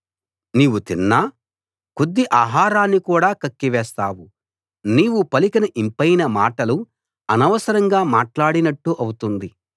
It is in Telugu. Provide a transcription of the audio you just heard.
నీవు తిన్న కొద్ది ఆహారాన్ని కూడా కక్కి వేస్తావు నీవు పలికిన యింపైన మాటలు అనవసరంగా మాట్లాడినట్టు అవుతుంది